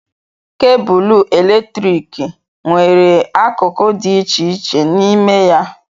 Kebụlụ eletrik nwere akụkụ dị iche iche n'ime ya.